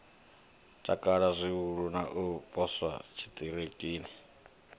takala zwihulu u poswa tshiṱitshini